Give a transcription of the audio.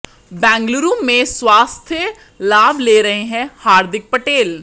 बेंगलुरु में स्वास्थ्य लाभ ले रहे हैं हार्दिक पटेल